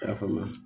I y'a faamu